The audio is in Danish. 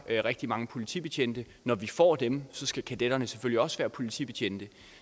rigtig mange politibetjente når vi får dem skal kadetterne selvfølgelig også være politibetjente